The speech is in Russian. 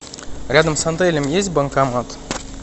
рядом с отелем есть банкомат